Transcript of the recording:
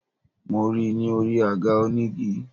Mo ri i ni orí àga onígi